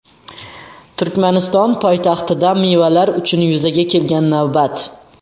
Turkmaniston poytaxtida mevalar uchun yuzaga kelgan navbat.